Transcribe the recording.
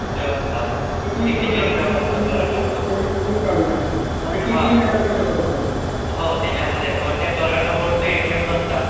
Limit नसताता voice over lapping कितीही घालू शकतो आणि कितीहा काढू शकतो. हो त्याच्यामध्ये पण त्या करंट अकाऊंटचे एटीएम नसतात.